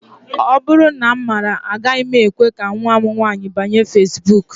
Ọ bụrụ na m maara, agaghị m ekwe ka nnwa m nwaanyị banye feesbuk